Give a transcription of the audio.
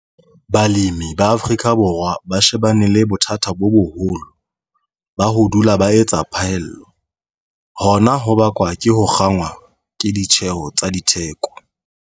Balemi ba Afrika Borwa ba shebane le bothata bo boholo - ba ho dula ba etsa phaello. Hona ho bakwa ke ho kgangwa ke ditjheho tsa ditheko.